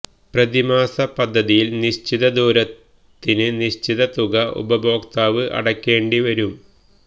പ്രതിമാസ പദ്ധതിയില് നിശ്ചിത ദൂരത്തിന് നിശ്ചിത തുക ഉപഭോക്താവ് അടയ്ക്കേണ്ടി വരും